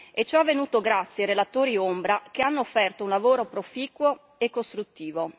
e ciò è avvenuto grazie ai relatori ombra, che hanno offerto un lavoro proficuo e costruttivo.